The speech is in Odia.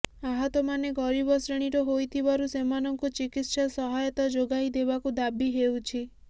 ଆହତମାନେ ଗରିବ ଶ୍ରେଣୀର ହୋଇଥିବାରୁ ସେମାନଙ୍କୁ ଚିକିତ୍ସା ସହାୟତା ଯୋଗାଇ ଦେବାକୁ ଦାବି ହେଉଛି